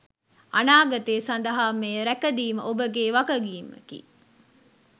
අනාගතය සදහා මෙය රැක දීම ඔබගේ වගකීමකි.